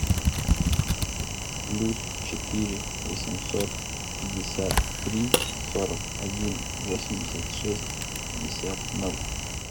плюс четыре восемьсот пятьдесят три сорок один восемьдесят шесть пятьдесят ноль